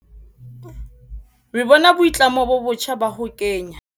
Re bona boitlamo bo botjha ba ho kenya.